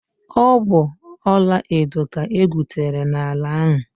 Ọ bụ ọlaedo ka egwutere n'ala ahụ.